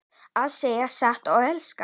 Að segja satt og elska